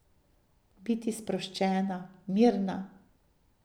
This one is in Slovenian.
Biti sproščena, mirna.